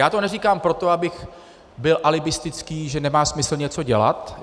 Já to neříkám proto, abych byl alibistický, že nemá smysl něco dělat.